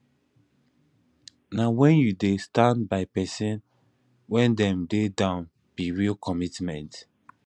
na wen you dey stand by pesin wen dem dey down be real commitment